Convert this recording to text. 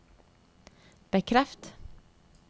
bekreft